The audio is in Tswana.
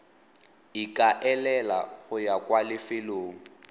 ikaelela go ya kwa lefelong